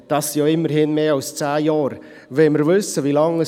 seither sind ja immerhin mehr als zehn Jahre vergangen.